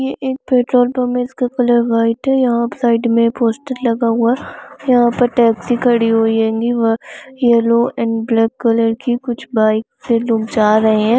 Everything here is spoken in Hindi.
ये एक पेट्रोल पम्प है इसका कलर वाईट है यहाँ साइड में पोस्टर लगा हुआ है यहाँ पर टेक्सी खड़ी हुई हैंगी यलो एंड ब्लैक कलर की कुछ बाइक से लोग जा रहे है।